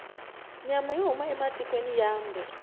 nyama yo huma ematikwena mambe